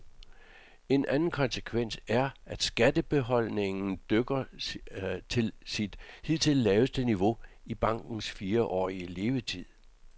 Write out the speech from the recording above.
En anden konsekvens er, at kassebeholdningen dykker til sit hidtil laveste niveau i bankens fireårige levetid.